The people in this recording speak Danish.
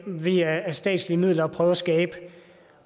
man via statslige midler og prøve at skabe